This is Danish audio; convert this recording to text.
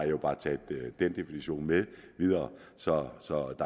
jo bare taget den definition med videre så